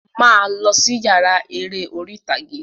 Máa lọ sí yàrá eré orí ìtàgé!